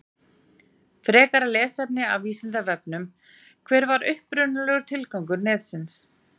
Frekara lesefni af Vísindavefnum: Hver var upprunalegur tilgangur netsins?